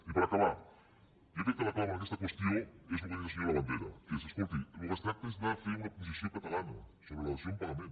i per acabar jo crec que la clau en aquesta qüestió és el que ha dit el senyor labandera que és escolti del que es tracta és de fer una posició catalana sobre la dació en pagament